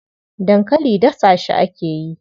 Dankali dasa shi ake yi.